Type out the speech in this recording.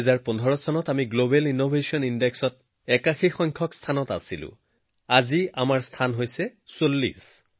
২০১৫ চনত আমি global innovation ইনডেক্সত ৮১ নম্বৰ স্থানত আছিলোআজি আমি ৪০ নম্বৰ স্থানত আছো